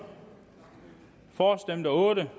for stemte otte